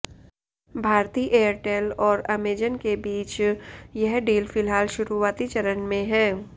Bharti Airtel और Amazon के बीच यह डील फिलहाल शुरुआती चरण में है